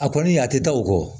A kɔni a tɛ taa o kɔ